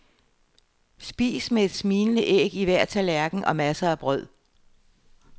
Spis med et smilende æg i hver tallerken og masser af brød.